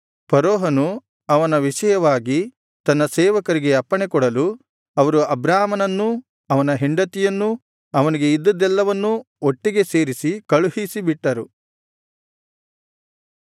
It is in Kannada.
ಫರೋಹನು ಅವನ ವಿಷಯವಾಗಿ ತನ್ನ ಸೇವಕರಿಗೆ ಅಪ್ಪಣೆಕೊಡಲು ಅವರು ಅಬ್ರಾಮನನ್ನೂ ಅವನ ಹೆಂಡತಿಯನ್ನೂ ಅವನಿಗೆ ಇದ್ದದ್ದೆಲ್ಲವನ್ನೂ ಒಟ್ಟಿಗೆ ಸೇರಿಸಿ ಕಳುಹಿಸಿ ಬಿಟ್ಟರು